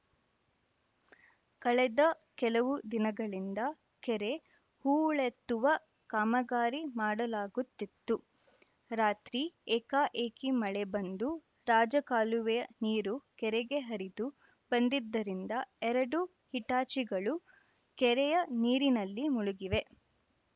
ಕಳೆದ ಕೆಲವು ದಿನಗಳಿಂದ ಕೆರೆ ಹೂಳೆತ್ತುವ ಕಾಮಗಾರಿ ಮಾಡಲಾಗುತ್ತಿತು ರಾತ್ರಿ ಏಕಾಏಕಿ ಮಳೆ ಬಂದು ರಾಜಕಾಲುವೆಯ ನೀರು ಕೆರೆಗೆ ಹರಿದು ಬಂದಿದ್ದರಿಂದ ಎರಡು ಹಿಟಾಚಿಗಳು ಕೆರೆಯ ನೀರಿನಲ್ಲಿ ಮುಳುಗಿವೆ